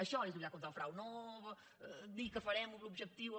això és lluitar contra el frau no dir que farem l’objectiu o